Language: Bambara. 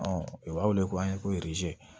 u b'a wele ko an ye ko